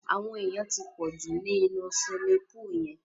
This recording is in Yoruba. Àwọn èyàn ti pọ̀ jù ni inú siwimi púùlù yẹn.